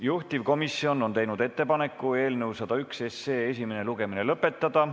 Juhtivkomisjon on teinud ettepaneku eelnõu 101 esimene lugemine lõpetada.